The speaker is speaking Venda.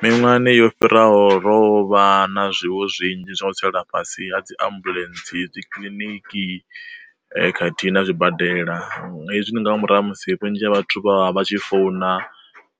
Miṅwahani yo fhiraho rovha na zwiwo zwinzhi zwa u tsela fhasi ha dzi ambuḽentse dzi kiḽiniki khathihi na zwibadela, hezwi ndi nga murahu ha musi vhunzhi ha vhathu vha vha tshi founa